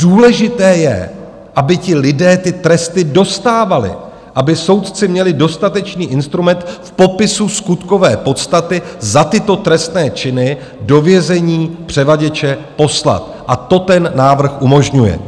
Důležité je, aby ti lidé ty tresty dostávali, aby soudci měli dostatečný instrument v popisu skutkové podstaty za tyto trestné činy do vězení převaděče poslat, a to ten návrh umožňuje.